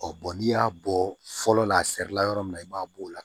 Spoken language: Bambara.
Ɔ bɔn n'i y'a bɔ fɔlɔ la a sirila yɔrɔ min na i b'a bɔ o la